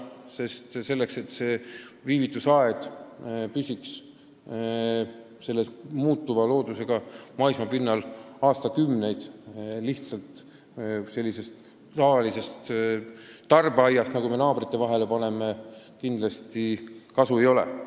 Kui me soovime, et viivitusaed püsiks muutuva loodusega maismaapinnal aastakümneid, siis tavalisest tarbeaiast selleks kindlasti ei piisa.